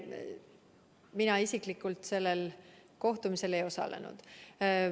Mina isiklikult sellel kohtumisel ei osalenud.